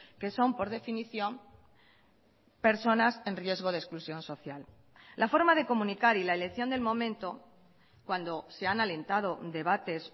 que son por definición personas en riesgo de exclusión social la forma de comunicar y la elección del momento cuando se han alentado debates